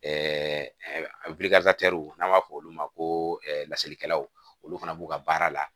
Ɛɛ n'an b'a fɔ olu ma ko laselikɛlaw olu fana b'u ka baara la